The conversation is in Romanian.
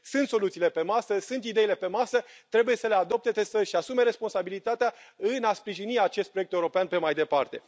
Sunt soluțiile pe masă, sunt ideile pe masă, trebuie să le adopte, să și asume responsabilitatea în a sprijini acest proiect european pe mai departe.